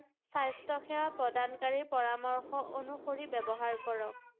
স্বাস্থ্য সেৱা প্ৰদানকাৰী পৰামৰ্শ অনুসৰি ব্যৱহাৰ কৰক ৷